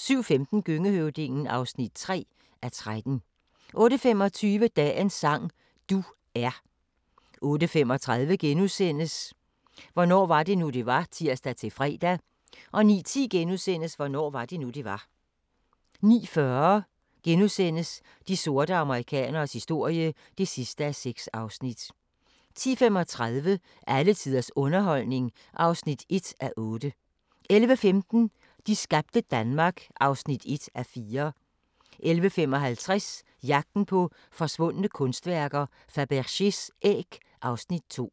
07:15: Gøngehøvdingen (3:13) 08:25: Dagens sang: Du er 08:35: Hvornår var det nu, det var? *(tir-fre) 09:10: Hvornår var det nu, det var? * 09:40: De sorte amerikaneres historie (6:6)* 10:35: Alle tiders underholdning (1:8) 11:15: De skabte Danmark (1:4) 11:55: Jagten på forsvundne kunstværker: Fabergés æg (Afs. 2)